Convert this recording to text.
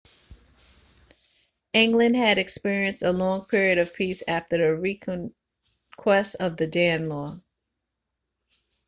england had experienced a long period of peace after the reconquest of the danelaw